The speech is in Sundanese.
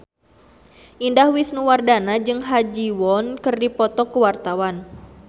Indah Wisnuwardana jeung Ha Ji Won keur dipoto ku wartawan